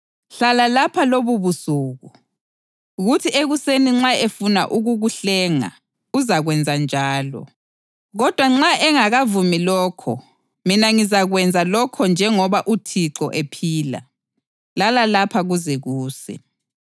Hlala lapha lobubusuku, kuthi ekuseni nxa efuna ukukuhlenga; uzakwenza njalo. Kodwa nxa engakavumi lokho, mina ngizakwenza lokho njengoba uThixo ephila. Lala lapha kuze kuse.”